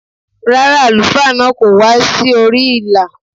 Rárá, àlùfáà náà kò wá sí orí ìlà.